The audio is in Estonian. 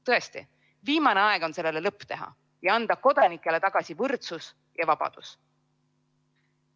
Tõesti on viimane aeg sellele lõpp teha ja anda kodanikele tagasi võrdsus ja vabadus.